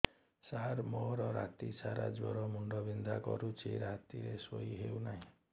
ସାର ମୋର ରାତି ସାରା ଜ୍ଵର ମୁଣ୍ଡ ବିନ୍ଧା କରୁଛି ରାତିରେ ଶୋଇ ହେଉ ନାହିଁ